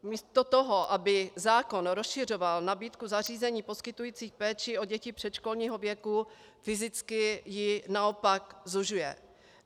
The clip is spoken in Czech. Místo toho, aby zákon rozšiřoval nabídku zařízení poskytující péči o děti předškolního věku, fyzicky ji naopak zužuje.